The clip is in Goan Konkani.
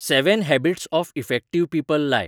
seven habits of effective people लाय